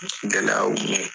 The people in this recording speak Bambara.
Gɛlɛyaw